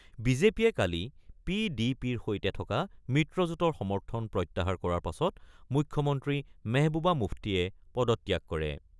বিজেপিয়ে কালি পি ডি পিৰ সৈতে থকা মিত্ৰজোটৰ সমৰ্থন প্ৰত্যাহাৰ কৰাৰ পাছত মুখ্যমন্ত্ৰী মেহবুবা মুফটিয়ে পদত্যাগ কৰে।